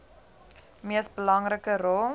mees belangrike rol